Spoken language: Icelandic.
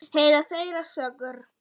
Heyra þeirra sögur.